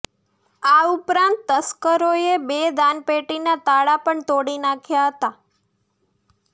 આ ઉપરાંત તસ્કરોએ બે દાનપેટીના તાળા પણ તોડી નાખ્યા હતા